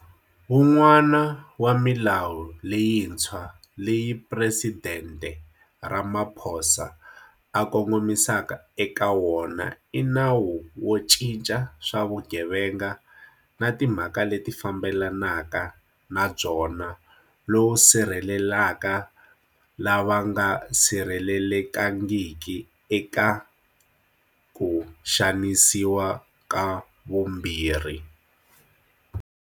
Wun'wana wa milawu leyintshwa leyi Presidente Ramaphosa a kongomisa eka wona i Nawu wo Cinca swa Vugevenga na Timhaka leti Fambelanaka na Byona lowu sirhelelaka lava nga sirhelelekangiki eka ku xanisiwa ka vumbirhi.